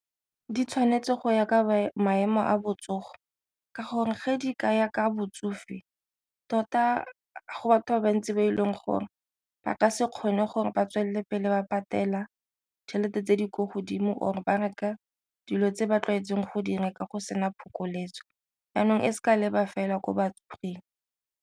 Di tshwanetse go ya ka maemo a botsogo ka gore ge di ka ya ka botsofe tota go batho ba bantsi ba e leng gore ba ka se kgone gore ba tswelele pele ba patela tšhelete tse di ko godimo or ba reka dilo tse ba tlwaetseng go direka go sena phokoletso, jaanong e seka leba fela ko batsofeng.